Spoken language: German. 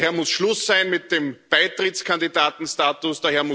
Daher muss Schluss sein mit dem Beitrittskandidatenstatus.